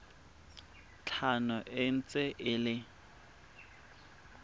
tlhano e ntse e le